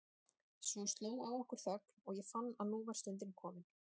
Svo sló á okkur þögn og ég fann að nú var stundin komin.